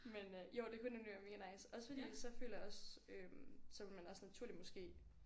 Men øh jo det kunne nemlig være mega nice også fordi så føler jeg også øh så ville man også naturligt måske